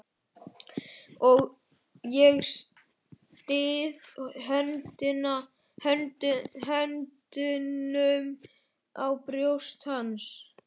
Og ég styð höndunum á brjóst hans.